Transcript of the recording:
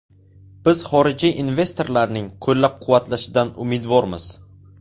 Biz xorijiy investorlarning qo‘llab-quvvatlashidan umidvormiz.